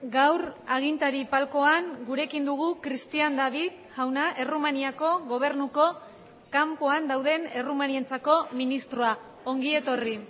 gaur agintari palcoan gurekin dugu cristian david jauna errumaniako gobernuko kanpoan dauden errumanientzako ministroa ongi etorri